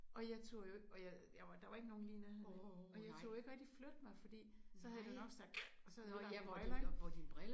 Og jeg turde jo ikke og jeg og jeg var der var ikke nogen lige i nærheden og jeg turde jo ikke rigtigt flytte mig fordi så havde det nok sagt og så havde jeg ødelagt mine briller ik